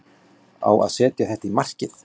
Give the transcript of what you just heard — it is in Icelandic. Ég á að setja þetta í markið.